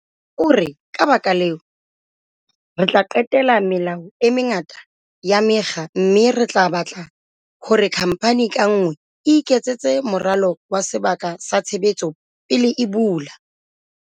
O re, "Ka lebaka leo, re tla qetela melao e mengata ya mekga mme re tla batla hore khamphani ka nngwe e iketsetse moralo wa sebaka sa tshebetso pele e bula."